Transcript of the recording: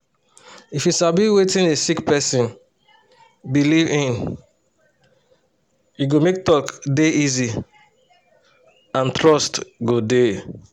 if you sabi wetin a sick person believe in e go make talk dey easy and trust go dey